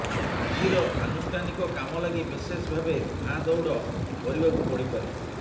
ଆଜିର ଆନୁଷ୍ଠାନିକ କାମ ଲାଗି ବିଶେଷ ଭାବେ ଧାଁ ଦଉଡ଼ କରିବାକୁ ପଡ଼ିପାରେ